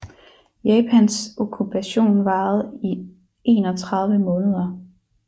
Japans okkupation varede i 31 måneder